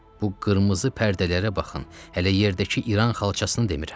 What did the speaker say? Bu qırmızı pərdələrə baxın, hələ yerdəki İran xalçasını demirəm.